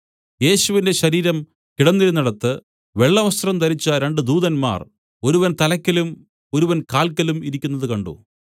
യേശുവിന്റെ ശരീരം കിടന്നിരുന്നിടത്ത് വെള്ളവസ്ത്രം ധരിച്ച രണ്ടു ദൂതന്മാർ ഒരുവൻ തലയ്ക്കലും ഒരുവൻ കാൽക്കലും ഇരിക്കുന്നത് കണ്ട്